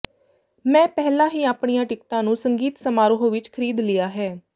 ਮੈਂ ਪਹਿਲਾਂ ਹੀ ਆਪਣੀਆਂ ਟਿਕਟਾਂ ਨੂੰ ਸੰਗੀਤ ਸਮਾਰੋਹ ਵਿਚ ਖਰੀਦ ਲਿਆ ਹੈ